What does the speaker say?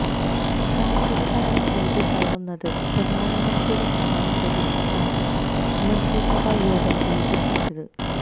കാര്ഷിക കടങ്ങള് എഴുതിത്തള്ളുന്നതിന് പ്രധാനമന്ത്രിയുടെ സഹായം പ്രതീക്ഷിച്ചാണ് മന്ത്രിസഭാ യോഗം വൈകിപ്പിച്ചത്